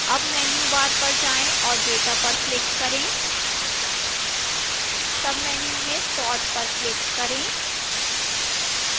अब menu bar पर जाएं और data पर click करें menu में sort पर click करें